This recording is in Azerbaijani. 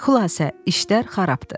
Xülasə, işlər xarabdı.